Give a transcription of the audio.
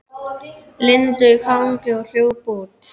Lindu í fangið og hljóp út.